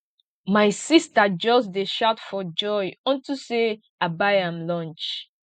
my sister just dey shout for joy unto say i buy am lunch